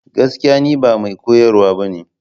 Gaskiya! Ni ba mai koyarwa ba ne.